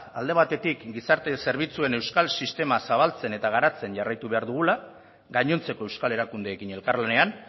alde batetik gizarte zerbitzuen euskal sistema zabaltzen eta garatzen jarraitu behar dugula gainontzeko euskal erakundeekin elkarlanean